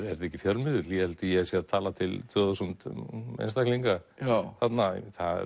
ekki fjölmiðill ég held að ég sé að tala til tvö þúsund einstaklinga þarna